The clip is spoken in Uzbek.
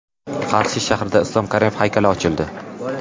Qarshi shahrida Islom Karimov haykali ochildi.